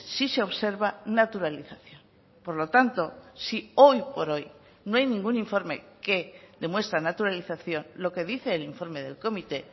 si se observa naturalización por lo tanto si hoy por hoy no hay ningún informe que demuestra naturalización lo que dice el informe del comité